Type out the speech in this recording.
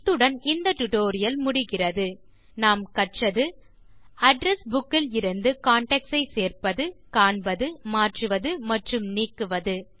இத்துடன் இந்த டியூட்டோரியல் முடிகிறது இந்த டியூட்டோரியல் இல் கற்றது அட்ரெஸ் புக் இலிருந்து கான்டாக்ட்ஸ் சேர்ப்பது காண்பது மாற்றுவது மற்றும் நீக்குவது